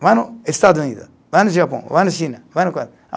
Vai no Estado Unido, vai no Japão, vai na China, vai